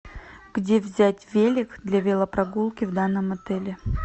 где взять велик для велопрогулки в данном отеле